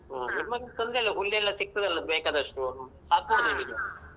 ನಿಮ್ಮಲ್ಲಿ ತೊಂದ್ರೆ ಇಲ್ಲ ಹುಲ್ಲ್ ಎಲ್ಲ ಸಿಕ್ತದಲ್ಲಾ ಬೇಕಾದಷ್ಟು ಸಾಕ್ಬೋದು ನಿಮಿಗೆ.